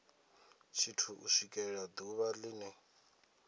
tshithu u swikela ḓuvha line